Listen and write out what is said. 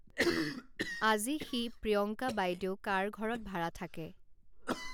আজি সি প্ৰিয়ংকা বাইদেউ কাৰ ঘৰত ভাড়া থাকে